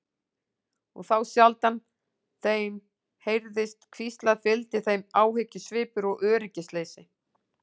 Og þá sjaldan þeim heyrðist hvíslað fylgdi þeim áhyggjusvipur og öryggisleysi.